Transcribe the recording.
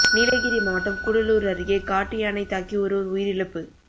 நீலகிரி மாவட்டம் கூடலூர் அருகே காட்டு யானை தாக்கி ஒருவா் உயிரிழப்பு